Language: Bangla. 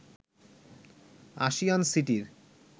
আশিয়ান সিটির